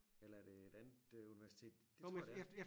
Eller er det et andet universitet det tror jeg det er